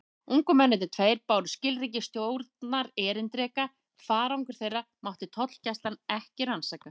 Ungu mennirnir tveir báru skilríki stjórnarerindreka: farangur þeirra mátti tollgæslan ekki rannsaka.